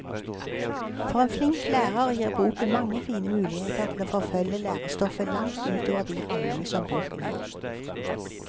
For en flink lærer gir boken mange fine muligheter til å forfølge lærestoffet langt ut over de rammene som boken gir.